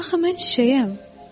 Axı mən çiçəyəm.